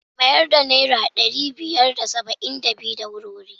Mayar da naira ɗari biyar da saba'in da biyu. da wuri-wuri.